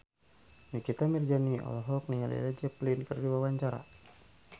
Nikita Mirzani olohok ningali Led Zeppelin keur diwawancara